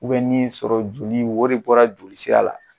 nin ye sɔrɔ joli ye o de bɔra joli sira la.